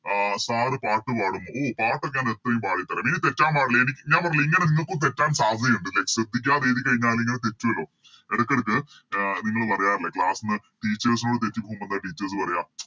അഹ് Sir പാട്ട് പാടുമോ ഓ പാട്ടൊക്കെ ഞാൻ എപ്പഴും പാടിത്തരാം ഇനി തെറ്റാൻ പാടില്ല എനിക്ക് ഞാൻ പറഞ്ഞില്ലേ ഇങ്ങനെ നിങ്ങക്കും തെറ്റാൻ സാധ്യതയുണ്ട് ലെ ശ്രദ്ധിക്കാതെ എയ്തികയിഞ്ഞലിങ്ങനെ തെറ്റൂലോ എടക്കെടക്ക് അഹ് നിങ്ങള് പറയാറില്ലെ Class ന്ന് Teachers നോട് തെറ്റിപോവുമ്പോ ന്താ Teachers പറയാ